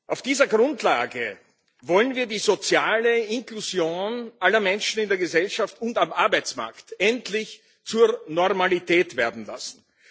Auf dieser Grundlage wollen wir die soziale Inklusion aller Menschen in der Gesellschaft und am Arbeitsmarkt endlich zur Normalität werden lassen.